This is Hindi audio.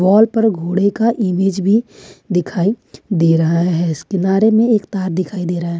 वॉल पर घोड़े का इमेज भी दिखाई दे रहा है इस किनारे में एक तार दिखाई दे रहा है।